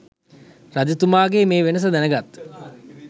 රජතුමාගේ මේ වෙනස දැනගත්